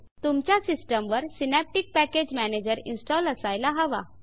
तुमच्या सिस्टम वर synaptic package manager install असायला हवा